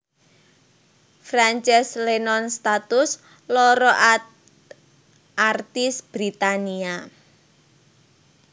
Frances Lennon satus loro artis Britania